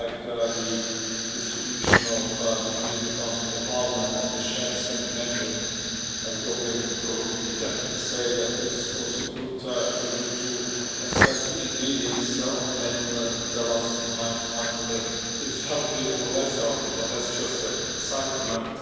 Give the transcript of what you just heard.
Like the distribution between the Council and Parliament and the chefs and the menu, I would only perhaps be tempted to say that it is also good for you to assess the ingredients on the menu and tell us from time to time whether it is healthy or less healthy, but that is just a side comment.